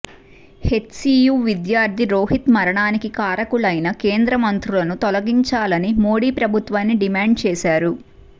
HCU విద్యార్థి రోహిత్ మరణానికి కారకులైన కేంద్రమంత్రులను తొలగించాలని మోడీ ప్రభుత్వాన్ని డిమాండ్ చేశారు